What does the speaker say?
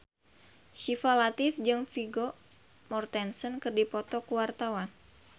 Syifa Latief jeung Vigo Mortensen keur dipoto ku wartawan